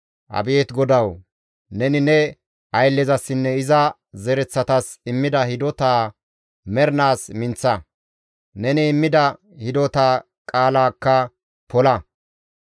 «Abeet GODAWU! Neni ne ayllezasinne iza zereththatas immida hidotaa mernaas minththa; neni immida hidota qaalaakka pola.